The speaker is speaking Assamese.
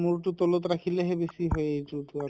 মূৰ টো তলত ৰাখিলেহে বেছি হয় এইতো টো আৰু